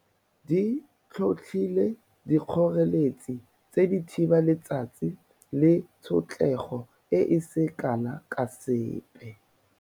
Di tlhotlhile dikgoreletsi di thiba letsatsi le tshotlego e e seng kana ka sepe.